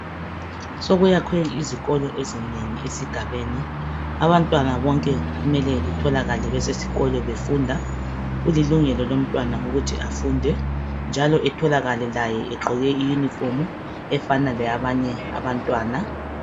Sokuyakhwe izikolo ezinengi esigabeni abantwana bonke kumele betholakale besesikolo befunda kulilungelo lomntwana ukuthi afunde njalo etholakale laye egqoke iyunifomu efana leyabanye abantwana.